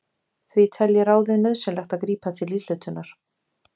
Því telji ráðið nauðsynlegt að grípa til íhlutunar.